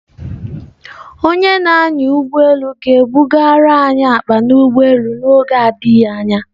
Onye na-anya ụgbọ elu ga-ebuga anyị akpa n'ụgbọelu n'oge na-adịghị anya.